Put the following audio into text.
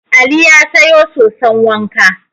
Ali ya sayo soson wanka.